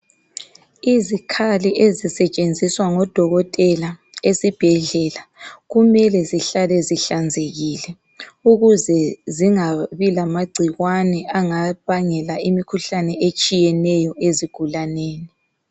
Izikhali ezisetshenziswa ngodokotela esibhedlela kumele zihlale zihlanzekile ukuze zingabi lamagcikwane angabangela imikhuhlane etshiyeneyo ezigulaneni.